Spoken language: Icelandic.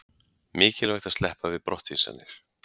Mikilvægt að sleppa við brottvísanir